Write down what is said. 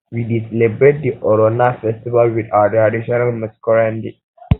we dey celebrate di oronna festival wit our traditional masquerade